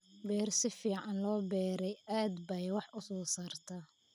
Beer si fiican loo beeray aad bay wax u soo saartaa.